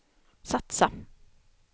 satsa